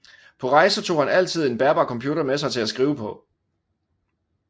På rejser tog han altid en bærbar computer med sig til at skrive på